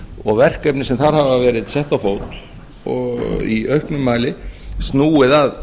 og verkefni sem þar hafa verið sett á fót og í auknum mæli snúið að